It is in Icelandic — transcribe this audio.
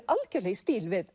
algjörlega í stíl við